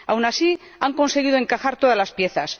Aún así han conseguido encajar todas las piezas.